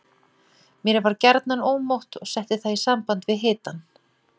Mér var gjarnan ómótt og setti það í samband við hitann.